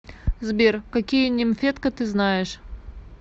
сбер какие нимфетка ты знаешь